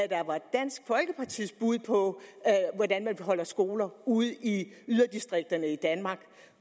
dansk folkepartis bud på hvordan man bevarer skoler ude i yderdistrikterne i danmark